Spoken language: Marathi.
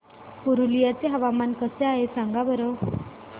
पुरुलिया चे हवामान कसे आहे सांगा बरं